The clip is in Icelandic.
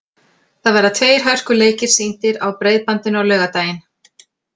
Það verða tveir hörkuleikir sýndir á Breiðbandinu á laugardaginn.